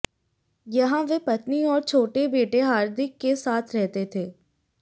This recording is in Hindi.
यहां वे पत्नी और छोटे बेटे हार्दिक के साथ रहते थे